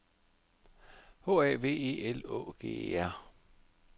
H A V E L Å G E R